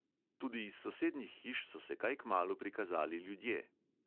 Tudi iz sosednjih hiš so se kaj kmalu prikazali ljudje.